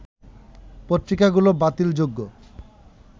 পত্রিকাগুলো বাতিল যোগ্য